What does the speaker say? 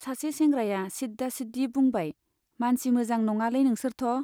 सासे सेंग्राया सिद्दा सिद्दि बुंबाय, मानसि मोजां नङालै नोंसोरथ' ?